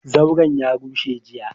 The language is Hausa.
Zauran ya rushe jiya,